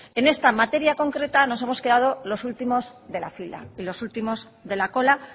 en esta materia concreta nos hemos quedado los últimos de la fila y los últimos de la cola